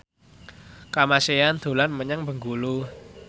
Kamasean dolan menyang Bengkulu